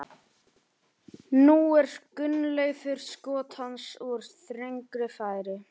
Og það hafði einmitt orðið mitt þýðingarmesta hlutverk í lífinu, þar til barnið fæddist.